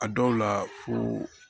A dɔw la fo